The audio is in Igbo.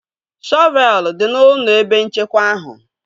Shọvelu dị n'ụlọ ebe nchekwa ahụ